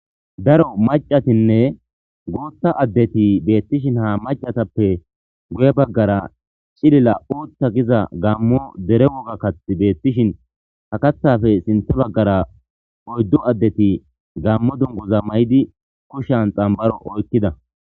daro macatinne booththa addeti beettishin ha macatappe guye baggara cilila uta giza gammo dere woga kathi beettishin ha kathafe sinthe baggara oyddu addeti gammo dungoza maydi kushan xambaro oykkida